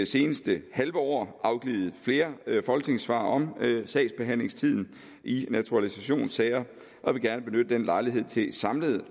seneste halve år afgivet flere folketingssvar om sagsbehandlingstiden i naturalisationssager og vil gerne benytte denne lejlighed til samlet